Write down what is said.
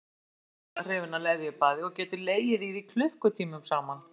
Hann er ákaflega hrifinn af leðjubaði og getur legið í því klukkutímum saman.